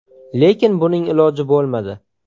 Lekin buning iloji bo‘lmadi.